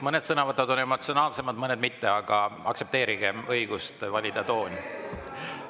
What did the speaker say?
Mõned sõnavõtud on emotsionaalsemad, mõned mitte, aga aktsepteerigem õigust valida tooni.